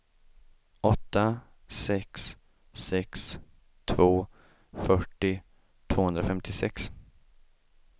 åtta sex sex två fyrtio tvåhundrafemtiosex